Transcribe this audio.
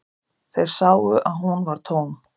Þeir sáu að hún var tóm.